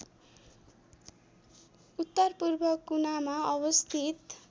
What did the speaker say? उत्तरपूर्व कुनामा अवस्थित